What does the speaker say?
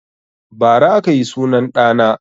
Bara aka yi sunan ɗa na